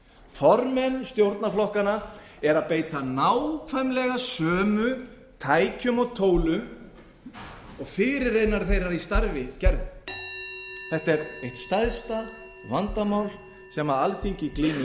formenn stjórnarflokkanna eru að beita nákvæmlega sömu tækjum og tólum og fyrirrennarar þeirra í starfi gerðu þetta er eitt stærsta vandamál sem alþingi glímir